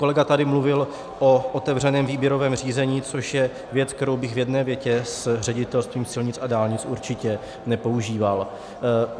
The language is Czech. Kolega tady mluvil o otevřeném výběrovém řízení, což je věc, kterou bych v jedné větě s Ředitelstvím silnic a dálnic určitě nepoužíval.